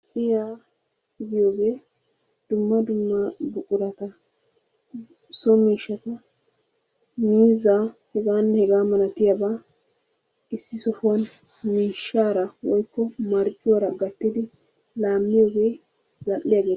Za'iya giyogee dumma dumma buqurata so miishshaata miizzaa hegaanne hegaa malatiyaba issi sohuwan miishshaara woykko marccuwaara gattidi laamiyogee za'iya giyogaa.